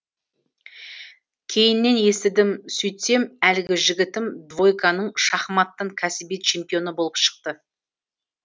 кейіннен естідім сөйтсем әлгі жігітім двойканың шахматтан кәсіби чемпионы болып шықты